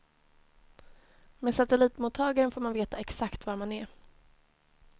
Med satellitmottagaren får man veta exakt var man är.